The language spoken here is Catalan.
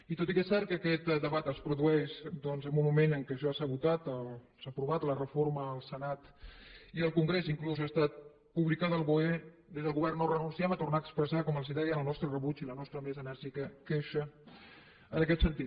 i tot i que és cert que aquest debat es produeix doncs en un moment en què ja s’ha votat s’ha aprovat la reforma al senat i al congrés i inclús ha estat publicada al boe des del govern no renunciem a tornar expressar com els deia el nostre rebuig i la nostra més enèrgica queixa en aquest sentit